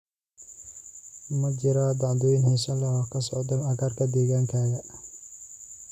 ma jiraan dhacdooyin xiiso leh oo ka socda agagaarka deegaankayga